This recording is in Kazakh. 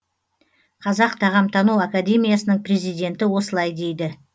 қазақ тағамтану академиясының президенті осылай дейді